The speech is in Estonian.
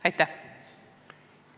Aitäh!